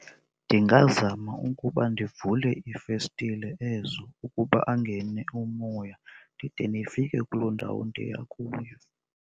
Ndingazama ukuba ndivule iifestile ezo ukuba angene umoya ndide ndifike kuloo ndawo ndiya kuyo.